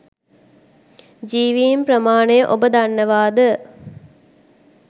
ජීවින් ප්‍රමාණය ඔබ දන්නවාද?